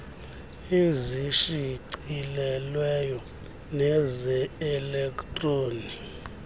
ezishicilelweyo neze elektroni